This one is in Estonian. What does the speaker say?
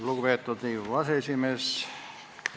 Lugupeetud Riigikogu aseesimees!